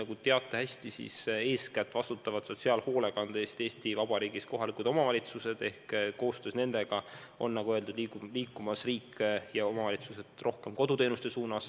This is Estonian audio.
Te teate hästi, et eeskätt vastutavad sotsiaalhoolekande eest Eesti Vabariigis kohalikud omavalitsused, ja koostöös nendega liiguvad, nagu öeldud, riik ja omavalitsused rohkem koduteenuste suunas.